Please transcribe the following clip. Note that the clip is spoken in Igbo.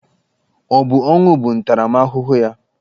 Ọ bụ ọnwụ bụ ntaramahụhụ ya?